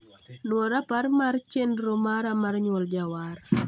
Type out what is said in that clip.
Nwo rapar mar chenro mara mar Nyuol Jawar.